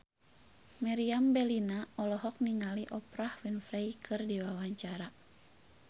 Meriam Bellina olohok ningali Oprah Winfrey keur diwawancara